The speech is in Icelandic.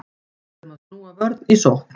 Erum að snúa vörn í sókn